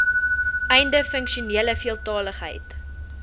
einde funksionele veeltaligheid